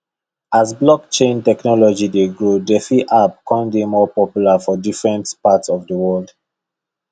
as blockchain technology dey grow defi apps kan dey more popular for different parts of the world